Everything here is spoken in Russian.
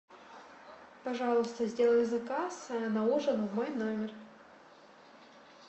пожалуйста сделай заказ на ужин в мой номер